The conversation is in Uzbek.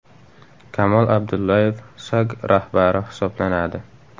Kamol Abdulloyev SAG rahbari hisoblanadi .